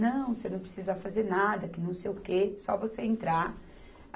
Não, você não precisa fazer nada, que não sei o quê, só você entrar.